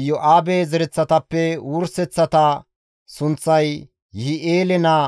Iyo7aabe zereththatappe wurseththata sunththay Yihi7eele naa